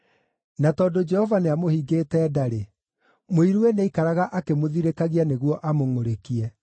Na tondũ Jehova nĩamũhingĩte nda-rĩ, mũiruwe nĩaikaraga akĩmũthirĩkagia nĩguo amũngʼũrĩkie.